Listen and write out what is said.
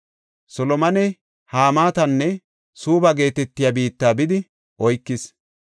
Solomoney Hamaatanne Suubba geetetiya biitta bidi oykis.